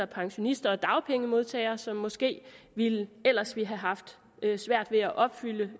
pensionister og dagpengemodtagere som måske ellers ville have haft svært ved at opfylde